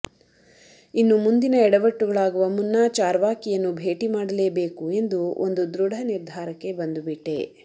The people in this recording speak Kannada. ಇನ್ನು ಮುಂದಿನ ಎಡವಟ್ಟುಗಳಾಗುವ ಮುನ್ನ ಚಾರ್ವಾಕಿಯನ್ನು ಭೇಟಿ ಮಾಡಲೇಬೇಕು ಎಂದು ಒಂದು ದೃಢ ನಿರ್ಧಾರಕ್ಕೆ ಬಂದುಬಿಟ್ಟೆ